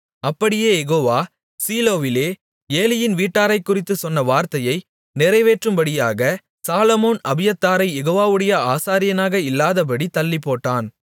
அப்படியே யெகோவா சீலோவிலே ஏலியின் வீட்டாரைக்குறித்துச் சொன்ன வார்த்தையை நிறைவேற்றும்படியாக சாலொமோன் அபியத்தாரைக் யெகோவாவுடைய ஆசாரியனாக இல்லாதபடித் தள்ளிப்போட்டான்